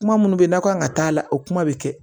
Kuma minnu bɛ n'a kan ka taa la o kuma bɛ kɛ